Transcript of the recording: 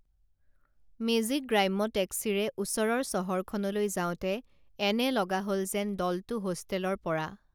মেজিকগ্ৰাম্য টেক্সিৰে ওচৰৰ চহৰখনলৈ যাওঁতে এনে লগা হল যেন দলটো হোষ্টেলৰ পৰা